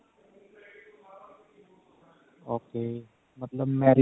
okay ਮਤਲਬ